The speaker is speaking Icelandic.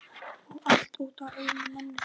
Og allt út af einni manneskju.